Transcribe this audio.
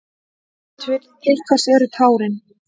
Til hvers eru tárin?